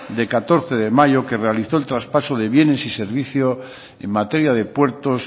de catorce de mayo que realizó el traspaso de bienes y servicios en materia de puertos